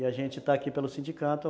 E a gente está aqui pelo sindicato.